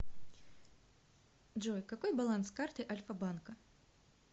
джой какой баланс карты альфа банка